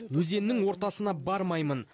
өзеннің ортасына бармаймын